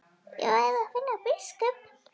Ég verð að finna biskup!